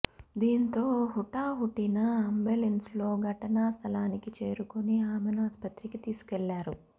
దీంతో హుటాహుటిన అంబులెన్స్లో ఘటనా స్థలానికి చేరుకుని ఆమెను ఆస్పత్రికి తీసుకెళ్లారు